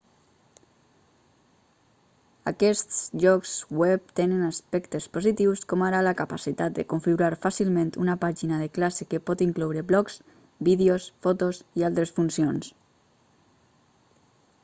aquests llocs web tenen aspectes positius com ara la capacitat de configurar fàcilment una pàgina de classe que pot incloure blogs vídeos fotos i altres funcions